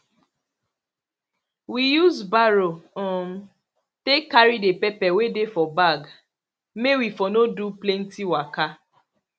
we use barrow um take carry the pepper wey dey for bag may we for no do plenty waka